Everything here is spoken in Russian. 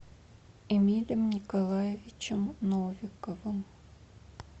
эмилем николаевичем новиковым